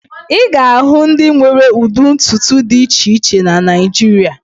Ị ga-ahụ ndị nwere ụdị ntutu dị iche iche na Naịjirịa